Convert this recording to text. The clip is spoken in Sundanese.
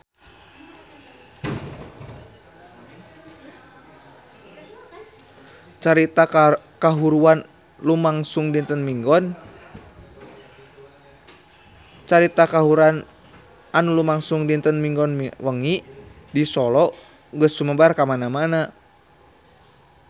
Carita kahuruan anu lumangsung dinten Minggon wengi di Solo geus sumebar kamana-mana